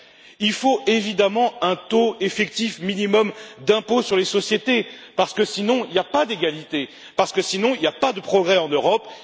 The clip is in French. qu'il faut évidemment un taux effectif minimum d'impôt sur les sociétés, parce que sinon il n'y a pas d'égalité, parce que sinon il n'y a pas de progrès en Europe.